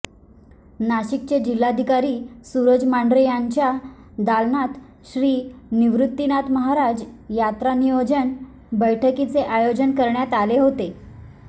नाशिकचे जिल्हाधिकारी सुरज मांढरे यांच्या दालनात श्रीनिवृत्तीनाथ महाराज यात्रा नियोजन बैठकीचे आयोजन करण्यात आले होते